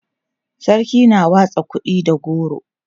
sarki na watsa kuɗi da goro